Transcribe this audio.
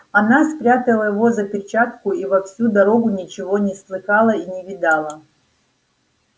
она спрятала его за перчатку и во всю дорогу ничего не слыхала и не видала